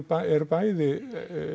eru bæði